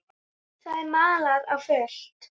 Það er malað á fullu.